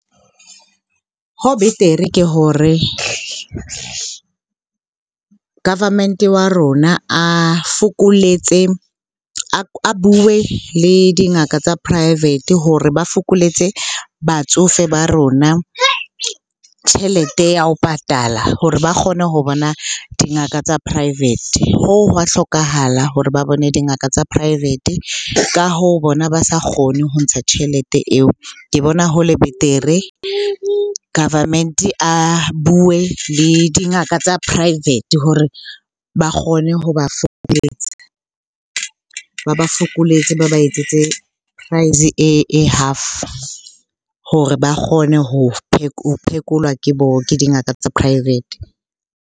Ho betere ke hore government-e wa rona a fokoletse, a bue le dingaka tsa private hore ba fokoletse batsofe ba rona tjhelete ya ho patala hore ba kgone ho bona dingaka tsa private. Hoo hwa hlokahala hore ba bone dingaka tsa private. Ka hoo, bona ba sa kgone ho ntsha tjhelete eo. Ke bona ho le betere government-e a bue le dingaka tsa private hore ba kgone ho ba ba fokoletse, ba ba etsetse price e half hore ba kgone phekolwa ke ke dingaka tsa private.